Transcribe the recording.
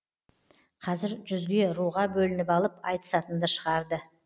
қазір жүзге руға бөлініп алып айтысатынды шығарды